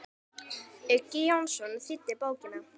Uggi Jónsson þýddi bókina.